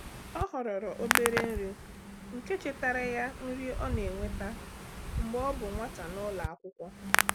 Ọ họrọrọ obere nri nke chetara ya nri ọ na-enweta mgbe ọ bụ nwata n'ụlọ akwụkwọ.